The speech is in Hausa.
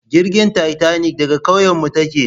Jirgin tatanik daga kauyenmu take